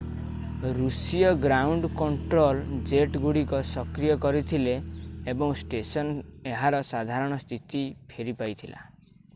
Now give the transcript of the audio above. ଋଷୀୟ ground control ଜେଟଗୁଡ଼ିକୁ ସକ୍ରିୟ କରିଥିଲେ ଏବଂ ଷ୍ଟେସନ୍ ଏହାର ସାଧାରଣ ସ୍ଥିତି ଫେରି ପାଇଥିଲା